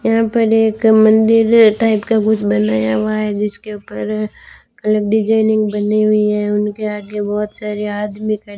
यहां पर एक मंदिर टाइप का कुछ बनाया हुआ है जिसके ऊपर अलग डिजाइनिंग बनी हुई है उनके आगे बहोत सारे आदमी ख --